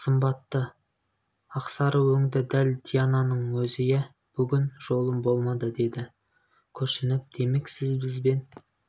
сымбатты ақсары өңді дәл диананың өзі иә бүгін жолым болмады деді күрсініп демек сіз бізбен